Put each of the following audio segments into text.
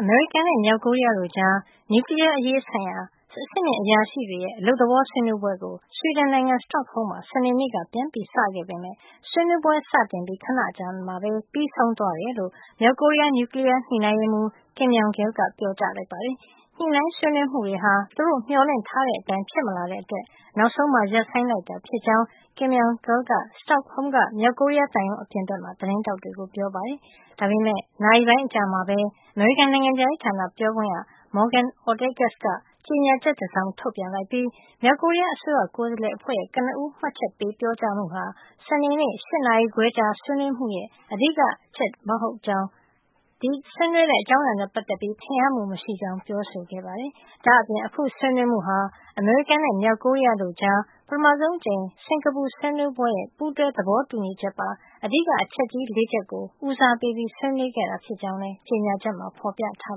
အမေရိကန်နဲ့ မြောက်ကိုရီးယားတို့ကြား နျူကလီးယားအရေးဆိုင်ရာ အဆင့်မြင့်အရာရှိတွေရဲ့ အလုပ်သဘော ဆွေးနွေးပွဲကို ဆွီဒင်နိုင်ငံ စတော့ဟုမ်းမှာ စနေနေ့က ပြန်စခဲ့ပေမယ့် ဆွေးနွေးပွဲစတင်ပြီး ခဏအကြာမှာပဲ ပြီးဆုံးသွားတယ်လို့ မြောက်ကိုရီးယား နျူကလီးယား ညှိနှိုင်းရေးမှူး Kim Myong Gil က ပြောကြားလိုက်ပါတယ်။ ညှိနှိုင်းဆွေးနွေးမှုတွေဟာ သူတို့မျှော်လင့်ထားတဲ့အတိုင်း ဖြစ်မလာတဲ့အတွက် နောက်ဆုံး ရပ်ဆိုင်းလိုက်တာဖြစ်ကြောင်း Kim Myong Gil က စတော့ဟုမ်းက မြောက်ကိုရီးယားသံရုံးအပြင်မှာ သတင်းထောက်တွေကို ပြောပါတယ်။ ဒါပေမယ့် နာရီပိုင်းအကြာမှာပဲ အမေရိကန် နိုင်ငံခြားရေးဌာန ပြောခွင့်ရ Morgan Ortagus က ကြေညာချက်တစောင် ထုတ်ပြန်လိုက်ပြီး မြောက်ကိုရီးယားအစိုးရ ကိုယ်စားလှယ်အဖွဲ့ရဲ့ ကနဦး မှတ်ချက်ပေး ပြောကြားမှုဟာ စနေနေ့ ၈ နာရီခွဲကြာ ဆွေးနွေးမှုရဲ့ အဓိကအချက် ဒါမှမဟုတ် ဆွေးနွေးတဲ့ အကြောင်းအရာနဲ့ ပတ်သက်ပြီး ထင်ဟပ်မှုမရှိကြောင်း ပြောဆိုပါတယ်။ ဒါ့အပြင် အခုဆွေးနွေးမှုဟာ အမေရိကန်နဲ့ မြောက်ကိုရီးယားကြား ပထမဆုံးအကြိမ် စင်ကာပူဆွေးနွေးပွဲရဲ့ ပူးတွဲသဘောတူညီချက်ပါ အဓိကအချက်ကြီး ၄ ချက်ကို ဦးစားပေး ဆွေးနွေးခဲ့တာ ဖြစ်ကြောင်းလည်း ကြေညာချက်မှာ ဖော်ပြထား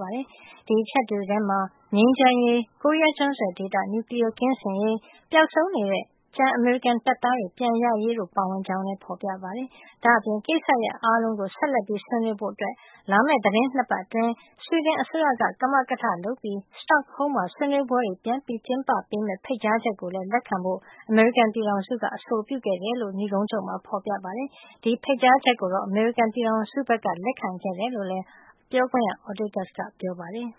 ပါတယ်။ ဒီအချက်တွေထဲမှာ ငြိမ်းချမ်းရေး၊ ကိုရီးယားကျွန်းဆွယ်ဒေသ နျူကလီးယားကင်းစင်ရေး၊ ပျောက်ဆုံးနေတဲ့ ကျန်အမေရိကန်တပ်သားတွေ ပြန်ရရေးတို့ ပါဝင်ကြောင်းလည်း ပြောပါတယ်။ ဒါ့အပြင် ကိစ္စရပ်အားလုံးကို ဆက်လက်ဆွေးနွေးဖို့ လာမယ့် သီတင်း ၂ ပတ်အတွင်း ဆွီဒင်အစိုးရက ကမကထလုပ်ပြီး စတော့ဟုမ်းမှာ ဆွေးနွေးပွဲတွေ ပြန်ကျင်းပပေးမယ့် ဖိတ်ကြားချက်ကိုလည်း လက်ခံဖို့ အမေရိကန်ပြည်ထောင်စုက အဆိုပြုခဲ့တယ်လို့ နိဂုံးချုပ် ဖော်ပြထားပါတယ်။ ဒီဖိတ်ကြားချက်ကို အမေရိကန်ပြည်ထောင်စုက လက်ခံခဲ့တယ်လို့လည်း Ortagus က ပြောပါတယ်။